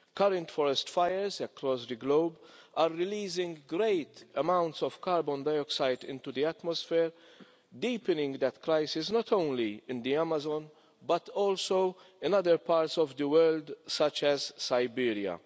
Current forest fires across the globe are releasing great amounts of carbon dioxide into the atmosphere, deepening that crisis, not only in the Amazon, but also in other parts of the world, such as Siberia.